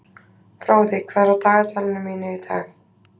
Fróði, hvað er í dagatalinu mínu í dag?